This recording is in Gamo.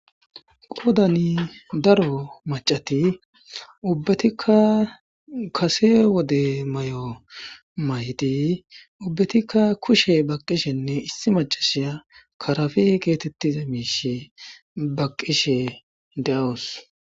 qodani daro macati ubbatikka kase wode may7o maydi ubbatikka kushe baqishenne issi macashiya karafi geetettiza miishe baqqishe de7awos